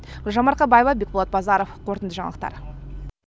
гүлжан марқабаева бекболат базаров қорытынды жаңалықтар